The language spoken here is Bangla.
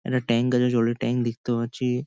একটা ট্যাংক আছে জল ট্যাংক দেখতে পাচ্ছি।